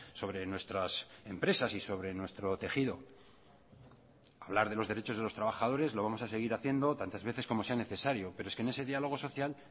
sobre nuestras empresas y sobre nuestro tejido hablar de los derechos de los trabajadores lo vamos a seguir haciendo tantas veces como sea necesario pero es que en ese diálogo social